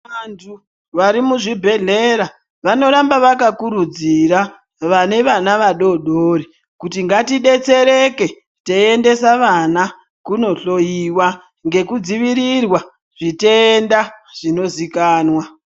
Vantu varimuzvibhedhlera vanoramba vakakurudzira vane vana vadodori kuti ngatidetsereke teiendesa vana kunohloiwa ngekudzivirirwa zvitenda zvinozikanwa.